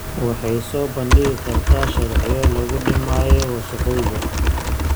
Waxay soo bandhigi kartaa sharciyo lagu dhimayo wasakhowga.